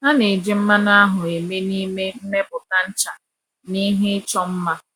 A na-eji mmanụ ahụ eme n’ime mmepụta ncha na ihe ịchọ mma.